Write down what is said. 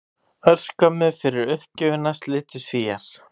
Örskömmu fyrir uppgjöfina slitu Svíar